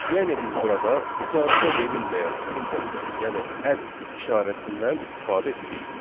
Yəni biz burada icazə verilməyən simvoldan, yəni add işarəsindən istifadə etmişik.